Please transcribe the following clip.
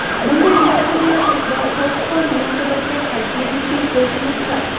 Bunday mas’uliyatsiz va sovuqqon munosabatga qat’iyan chek qo‘yishimiz shart.